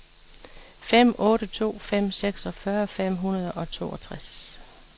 fem otte to fem seksogfyrre fem hundrede og toogtres